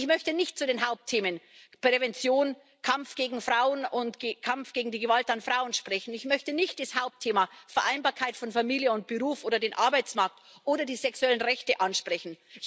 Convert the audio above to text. Ich möchte nicht zu den Hauptthemen Prävention und Kampf gegen die Gewalt an Frauen sprechen, ich möchte nicht das Hauptthema Vereinbarkeit von Familie und Beruf oder den Arbeitsmarkt oder die sexuellen Rechte ansprechen.